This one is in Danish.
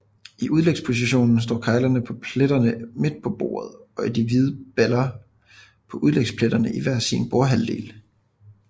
I udlægspositionen står keglerne på pletterne midt på bordet og de hvide baller på udlægspletterne i hver sin bordhalvdel